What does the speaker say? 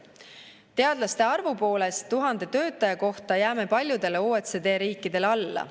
Teadlaste arvu poolest 1000 töötaja kohta jääme paljudele OECD riikidele alla.